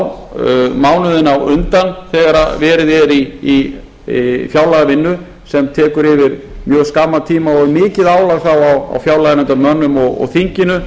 á mánuðina á undan þegar verið er í fjárlagavinnu sem tekur yfir mjög skamman tíma og er mikið álag þá á fjárlaganefndarmönnum og þinginu